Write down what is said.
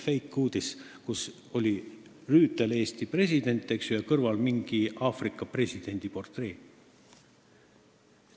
Täielik fake-uudis, kus oli Rüütel, Eesti president, ja mingi Aafrika presidendi portree tema kõrval.